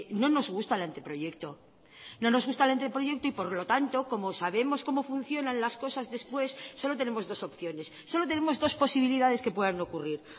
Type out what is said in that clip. no nos gusta el anteproyecto no nos gusta el anteproyecto y por lo tanto como sabemos como funcionan las cosas después solo tenemos dos opciones solo tenemos dos posibilidades que puedan ocurrir